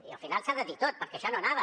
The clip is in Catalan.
i al final s’ha de dir tot perquè això no anava